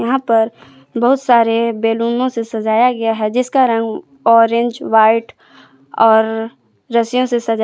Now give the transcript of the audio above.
यहाँ पर बहुत सारे बैलूनो से सजाया गया है जिसका रंग ऑरेंज वाइट और रस्सिंयों से सजाया--